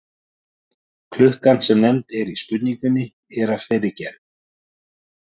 klukkan sem nefnd er í spurningunni er af þeirri gerð